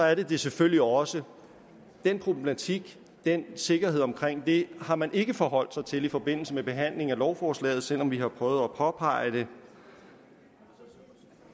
er det det selvfølgelig også den problematik den sikkerhed omkring det har man ikke forholdt sig til i forbindelse med behandlingen af lovforslaget selv om vi har prøvet at påpege det